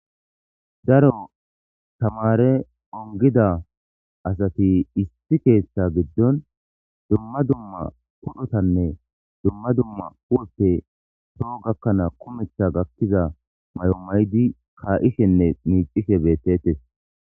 daro tamare ongida asati issi keeththa giddon dumma dumma podhotanne dumma dumma uwoppe poo gakkanaa kumetha gakkiza may7o maydi kaa7ishenne miicishe bettettes